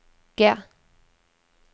G